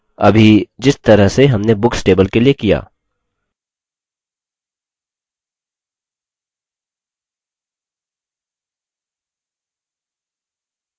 अभी जिस तरह से हमने books table के लिए किया